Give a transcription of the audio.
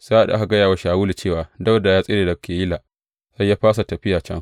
Sa’ad da aka gaya wa Shawulu cewa Dawuda ya tsere daga Keyila, sai ya fasa tafiya can.